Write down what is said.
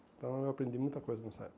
Então eu aprendi muita coisa nessa época.